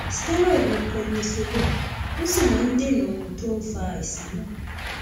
steroid ni prednisolone ó sì máa ń dènà ohun tó ń fa àìsàn náà